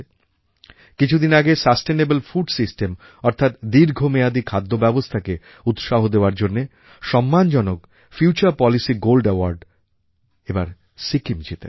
কিছুদিন আগে sustainable food systemঅর্থাৎ দীর্ঘমেয়াদী খাদ্যব্যবস্থাকে উৎসাহ দেওয়ার জন্য সম্মানজনক ফিউচার পলিসি গোল্ড Awardএবার সিকিম জিতেছে